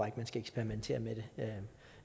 at man skal eksperimentere med det